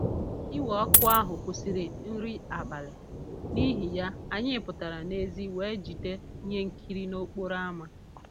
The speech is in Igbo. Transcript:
Iwe ọkụ ahụ kwụsịrị nri abalị, n'ihi ya, anyị pụtara n'èzí wee jide ihe nkiri n'okporo ámá